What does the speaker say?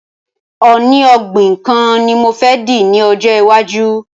Oní ògbìn kan ni mo fẹ dì ní ọjọ́ iwájú